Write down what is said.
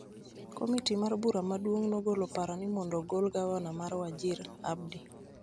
Komiti mar bura maduong� nogolo paro ni mondo ogol Gavana mar Wajir, Abdi